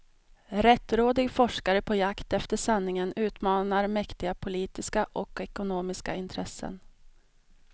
Rättrådig forskare på jakt efter sanningen utmanar mäktiga politiska och ekonomiska intressen.